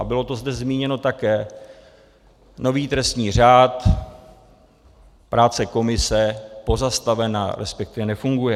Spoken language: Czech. A bylo to zde zmíněno také: nový trestní řád - práce komise pozastavena, respektive nefunguje.